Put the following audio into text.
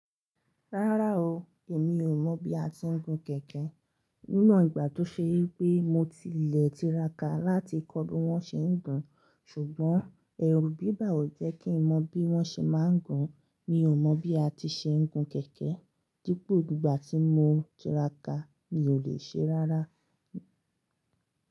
Rárá o, èmi ò mọ̀ bí a ti ń gun kẹ̀kẹ́. Níwon ìgbà tó ṣe pé mo ti lè tiraka láti kọ́ bí wón ṣe ń gun, ṣùgbọ́n ẹ̀rù bíbà ò jẹ́ kí mọ̀ bí wón ṣe máa ń gun. Mi ò mọ̀ bí a ti ṣe ń gun kẹ̀kẹ́, dípò ìgbà tí mo tiraka, mi ò lè ṣe rárá.